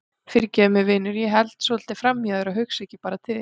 Fyrirgefðu mér vinur að ég held svolítið framhjá þér og hugsa ekki bara til þín.